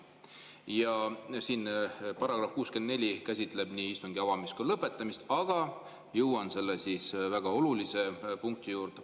Ja § 64 käsitleb nii istungi avamist kui ka lõpetamist, aga jõuan ühe väga olulise punkti juurde.